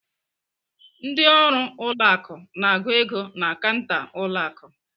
Ndị ọrụ ụlọ akụ na-agụ ego na kanta ụlọ akụ.